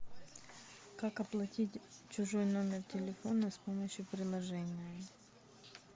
как оплатить чужой номер телефона с помощью приложения